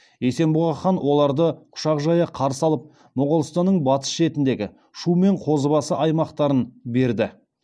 есенбұға хан оларды құшақ жая қарсы алып моғолстанның батыс шетіндегі шу мен қозыбасы аймақтарын берді